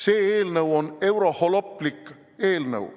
See eelnõu on euroholoplik eelnõu.